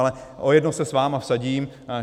Ale o jedno se s vámi vsadím.